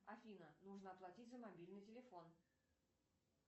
афина нужно оплатить за мобильный телефон